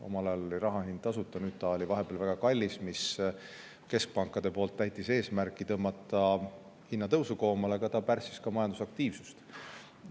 Omal ajal oli raha tasuta, nüüd ta oli vahepeal väga kallis, mis täitis keskpankade eesmärki tõmmata hinnatõusu koomale, aga ta pärssis ka majandusaktiivsust.